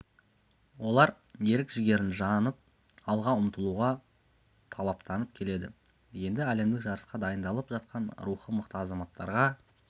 олар ерік-жігерін жанып алға ұмтылуға талаптанып келеді енді әлемдік жарысқа дайындалып жатқан рухы мықты азаматттарға